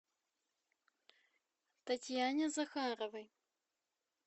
татьяне захаровой